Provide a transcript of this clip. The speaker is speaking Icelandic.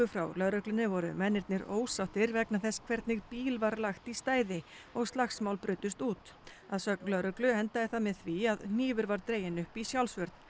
frá lögreglunni voru mennirnir ósáttir vegna þess hvernig bíl var lagt í stæði og slagsmál brutust út að sögn lögreglu endaði það með því að hnífur var dreginn upp í sjálfsvörn